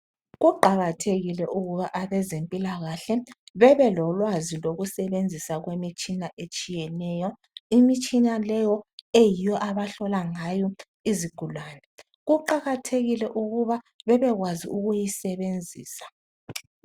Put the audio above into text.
Kuqakathekile ukuba abezempilakahle bebelolwazi lokusebenzisa kwemitshina etshiyeneyo. Imitshina leyo eyiyo abahlola ngayo izigulane, kuqakathekile ukuba bebekwazi ukuyisebenzisa.